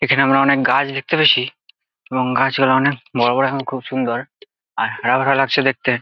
এখানে আমরা অনেক গাছ দেখতে পাচ্ছি এবং গাছ গুলো অনেক বড় বড় এবং খুব সুন্দর আর হারা ভরা লাগছে দেখতে।